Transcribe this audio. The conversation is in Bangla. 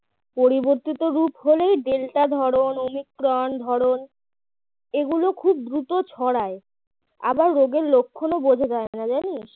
পরিবর্তিত রূপ হলেই ডেল্টা ধরন ওমিক্রন ধরনএগুলো খুব দ্রুত ছড়ায় আবার রোগের লক্ষণও বোঝা যায় না জানিস